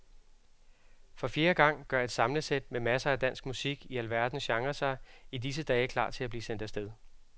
For fjerde gang gør et samlesæt med masser af dansk musik i alverdens genrer sig i disse dage klar til at blive sendt af sted.